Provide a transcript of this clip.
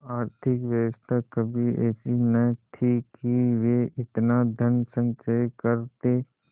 आर्थिक व्यवस्था कभी ऐसी न थी कि वे इतना धनसंचय करते